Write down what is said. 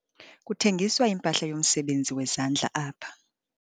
Kuthengiswa impahla yomsebenzi wezandla apha.